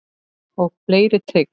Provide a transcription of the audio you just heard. Og fleiri trix.